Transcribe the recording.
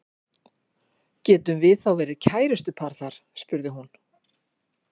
Getum við þá verið kærustupar þar spurði hún.